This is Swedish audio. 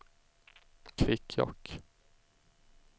Kvikkjokk